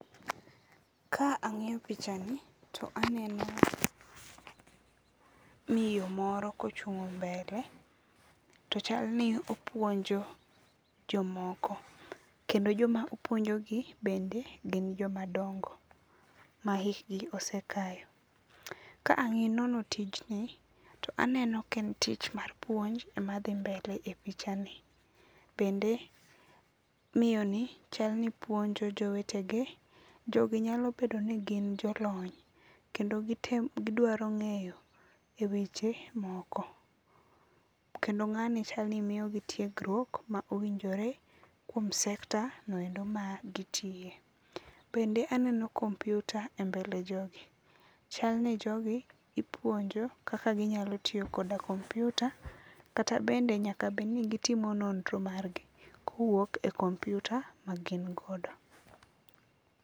Ka ang'iyo pichani, to aneno miyo moro kochung' mbele, to chalni opuonjo jomoko. Kendo joma opuonjogi, bende, gin jomadongo, ma hikgi osekayo. Ka ang'iyo anono tijni, aneno ka en tich mar puonj ema dhi mbele e pichani. Bende, miyoni chalni puonjo jowetege. Jogi nyalo bedo ni gin jolony, kendo gitemo gidwaro ng'eyo e weche moko. Kendo ng'ani chalni miyogi tiegruok ma owinjore, kuom sector noendo ma gitiye. Bende aneno kompiuta e mbele jogi. Chalni jogi, ipuonjo, kaka ginyalo tiyo koda kompiuta, kata bende nyaka bedni gitimo nondro margi kowuok e kompiuta ma gin godo